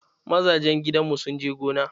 Mazajen gidanmu sun je gona.